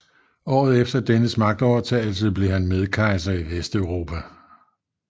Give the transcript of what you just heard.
Året efter dennes magtovertagelse blev han medkejser i Vesteuropa